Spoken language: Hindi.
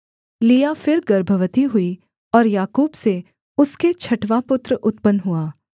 लिआ फिर गर्भवती हुई और याकूब से उसके छठवाँ पुत्र उत्पन्न हुआ